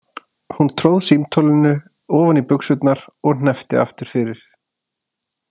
Hún tróð símtólinu ofan í buxurnar og hneppti aftur fyrir.